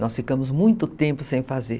Nós ficamos muito tempo sem fazer.